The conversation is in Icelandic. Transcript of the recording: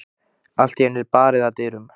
Allt í einu er barið að dyrum.